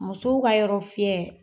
Musow ka yɔrɔ fiyɛ